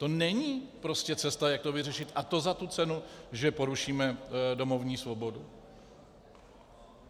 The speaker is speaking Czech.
To není prostě cesta, jak to vyřešit, a to za tu cenu, že porušíme domovní svobodu.